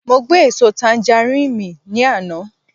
Mo gbé èso tanjarín mì ní àná